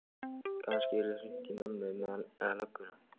Kannski yrði hringt í mömmu, eða lögguna.